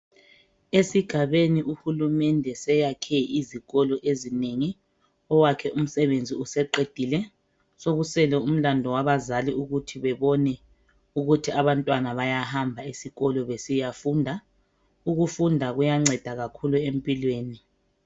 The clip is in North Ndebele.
Esigabeni uhulumende seyakhe izikolo ezinengi, owakhe umsebenzi useqedile, sokusele umlandu wabazali ukuthi bebone ukuthi abantwana bayahamba esikolo besiyafunda. Ukufunda kuyanceda kakhulu empilweni.